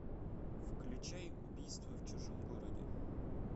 включай убийство в чужом городе